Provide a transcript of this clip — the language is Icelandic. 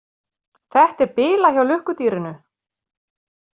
Þetta er bilað hjá lukkudýrinu.